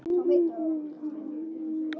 Margt hefur þó breyst.